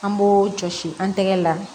An b'o jɔsi an tɛgɛ la